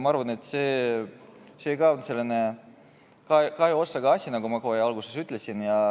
Ma arvan, et see on selline kahe otsaga asi, nagu ma kohe alguses ütlesin.